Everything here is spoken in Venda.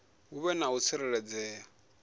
hu vhe na u tsireledzea